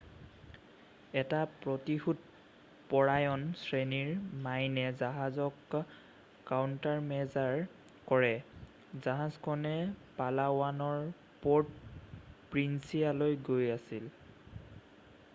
এটা প্ৰতিশোধ পৰায়ণ শ্ৰেণীৰ মাইনে জাহাজক কাউণ্টাৰমেজাৰ কৰে জাহাজখনে পালাৱানৰ পৰ্ট' প্ৰিন্সিয়ালৈ গৈ আছিল